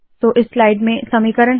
तो इस स्लाइड में समीकरण है